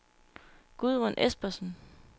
Gudrun Espersen